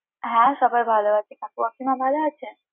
হ্যাঁ, সবাই ভালো আছে কাকু কাকিমা ভালো আছে?